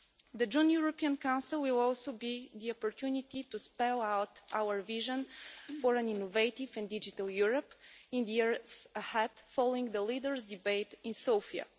The June European Council will also be the opportunity to spell out our vision for an innovative and digital Europe in the years ahead, following the leaders' debate in Sofia.